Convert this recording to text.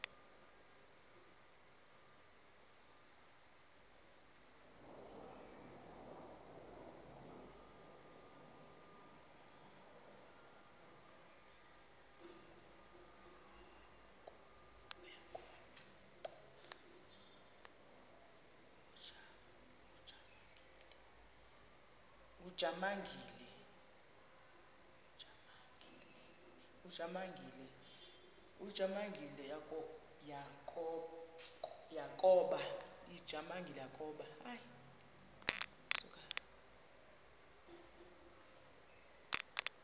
ujamangi le yakoba